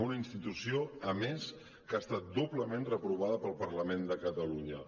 una institució a més que ha estat doblement reprovada pel parlament de catalunya